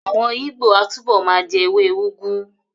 Àwọn Ìgbó á túbọ̀ ma jẹ́ ewé úgú